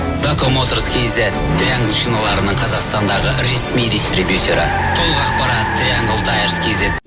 дако моторс кз триангл шиналарының қазақстандағы ресми дистрибьюторы толық ақпарат триангл таэрс кз